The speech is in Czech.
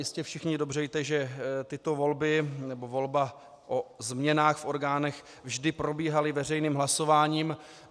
Jistě všichni dobře víte, že tyto volby nebo volba o změnách v orgánech vždy probíhaly veřejným hlasováním.